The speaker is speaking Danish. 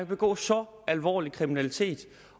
begå så alvorlig kriminalitet